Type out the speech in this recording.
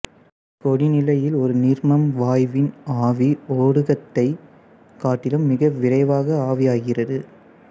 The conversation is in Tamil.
கொதிநிலையில் ஒரு நீர்மம் வாயுவின் ஆவி ஒடுக்கத்தைக் காட்டிலும் மிக விரைவாக ஆவியாகிறது